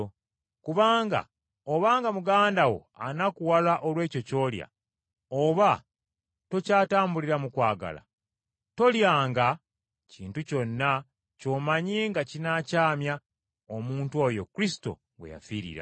Kubanga obanga muganda wo anakuwala olw’ekyo ky’olya, oba tokyatambulira mu kwagala; tolyanga kintu kyonna ky’omanyi nga kinaakyamya omuntu oyo Kristo gwe yafiirira.